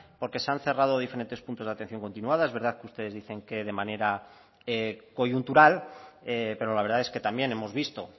porque se han cerrado diferentes puntos de atención continuada es verdad que ustedes dicen que de manera coyuntural pero la verdad es que también hemos visto